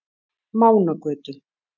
Mánagötu